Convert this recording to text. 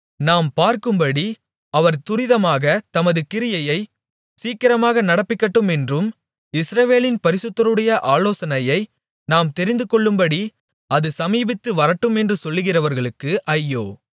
நாம் பார்க்கும்படி அவர் துரிதமாகத் தமது கிரியையைச் சீக்கிரமாக நடப்பிக்கட்டுமென்றும் இஸ்ரவேலின் பரிசுத்தருடைய ஆலோசனையை நாம் தெரிந்துகொள்ளும்படி அது சமீபித்து வரட்டுமென்றும் சொல்கிறவர்களுக்கு ஐயோ